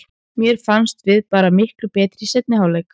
Mér fannst við bara miklu betri í seinni hálfleik.